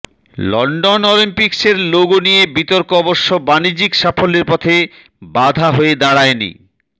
London অলিম্পিকসের logo নিয়ে বিতর্ক অবশ্য বাণিজ্যিক সাফল্যের পথে বাধা হয়ে দাঁড়ায়নি